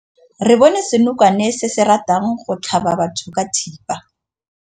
Re bone senokwane se se ratang go tlhaba batho ka thipa.